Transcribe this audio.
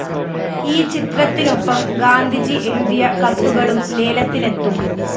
ഈ ചിത്രത്തിനൊപ്പം ഗാന്ധിജി എഴുതിയ കത്തുകളും ലേലത്തിനെത്തും